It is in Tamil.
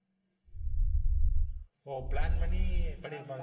ஓ plan பண்ணி பண்ணிருப்பான்.